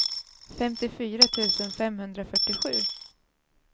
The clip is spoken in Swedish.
femtiofyra tusen femhundrafyrtiosju